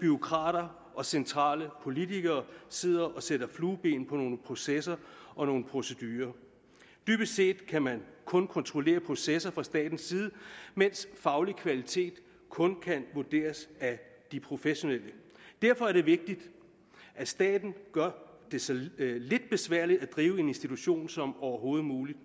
bureaukrater og centrale politikere der sidde og sætte flueben ved nogle processer og nogle procedurer dybest set kan man kun kontrollere processer fra statens side mens faglig kvalitet kun kan vurderes af de professionelle derfor er det vigtigt at staten gør det så lidt besværligt at drive en institution som overhovedet muligt